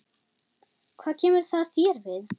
Hvað kemur það þér við?